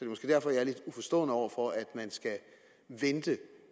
måske derfor jeg er lidt uforstående over for at man skal vente